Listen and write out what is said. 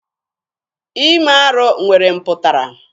Ime arụ nwere mpụtara.